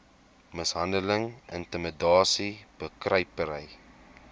mishandeling intimidasie bekruipery